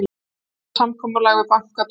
Vonir um samkomulag við banka dofna